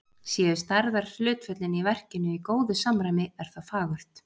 Séu stærðarhlutföllin í verkinu í góðu samræmi, er það fagurt.